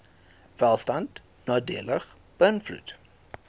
welstand nadelig beïnvloed